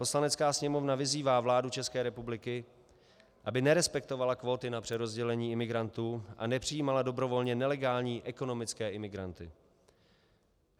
Poslanecká sněmovna vyzývá vládu České republiky, aby nerespektovala kvóty na přerozdělení imigrantů a nepřijímala dobrovolně nelegální ekonomické imigranty.